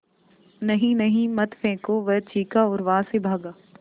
नहीं नहीं मत फेंको वह चीखा और वहाँ से भागा